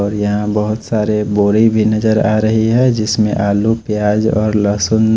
और यहां बहोत सारे बोरी भी नजर आ रही है जिसमें आलू प्याज और लहसुन--